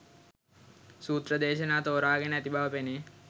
සූත්‍ර දේශනා තෝරාගෙන ඇති බව පෙනේ.